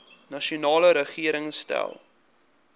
nasionale regering stel